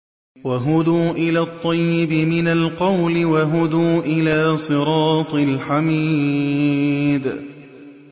وَهُدُوا إِلَى الطَّيِّبِ مِنَ الْقَوْلِ وَهُدُوا إِلَىٰ صِرَاطِ الْحَمِيدِ